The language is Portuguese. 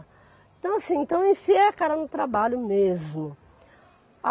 Então assim, então eu enfiei a cara no trabalho mesmo.